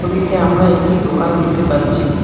ছবিতে আমরা একটি দোকান দেখতে পাচ্ছি।